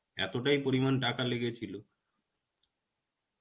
এতটাই পরিমান টাকা লেগেছিলো.